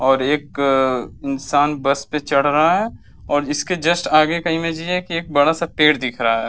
और एक इंसान बस पे चढ़ रहा है और इसके जस्ट आगे का इमेज ये है कि एक बड़ा-सा पेड़ दिख रहा है।